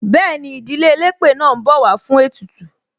Bẹẹni, ìdílé elépè náà ń bọ̀ wá fún ètùtù.